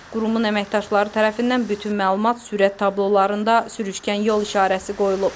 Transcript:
Qurumun əməkdaşları tərəfindən bütün məlumat sürət tablolarında sürüşkən yol işarəsi qoyulub.